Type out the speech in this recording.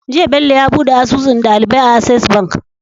Jiya Bello yabuɗe asusun ɗalibai a access bank